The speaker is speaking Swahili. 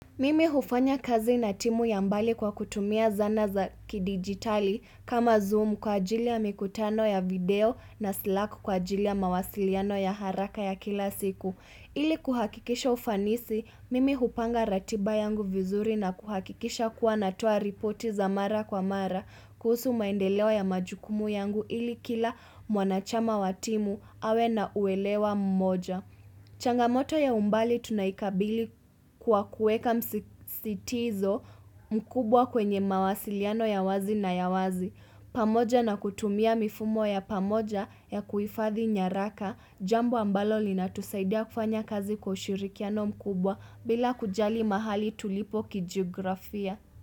Mimi hufanya kazi na timu ya mbali kwa kutumia zana za kidigitali kama zoom kwa ajili ya mikutano ya video na slack kwa ajili ya mawasiliano ya haraka ya kila siku. Ili kuhakikisha ufanisi, mimi hupanga ratiba yangu vizuri na kuhakikisha kuwa natoa ripoti za mara kwa mara kuhusu maendeleo ya majukumu yangu ili kila mwanachama wa timu awe na uelewa mmoja. Changamoto ya umbali tunaikabili kwa kueka msisitizo mkubwa kwenye mawasiliano ya wazi na ya wazi. Pamoja na kutumia mifumo ya pamoja ya kuifathi nyaraka, jambo ambalo lina tusaidia kufanya kazi kwa ushirikiano mkubwa bila kujali mahali tulipo kijiografia.